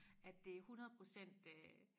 At det 100% øh